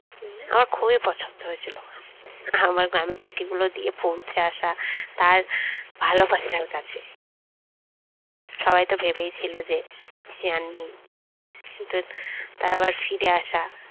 আমার খুবই পছন্দ হয়েছিল আমার গ্রামের চিঠি গুলো দিয়ে পৌঁছে আসা তার ভালোবাসার কাছে সবাই তো ভেবেছিল যে সে আর নেই কিন্তু তার আবার ফিরে আসা